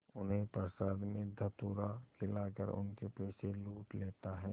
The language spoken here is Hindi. उन्हें प्रसाद में धतूरा खिलाकर उनके पैसे लूट लेता है